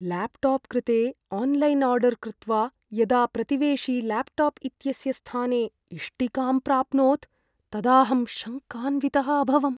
Laptop कृते online order कृत्वा, यदा प्रतिवेशी ल्याप्टाप् इत्यस्य स्थाने इष्टिकां प्राप्नोत् तदाहं शङ्कान्वितः अभवम्।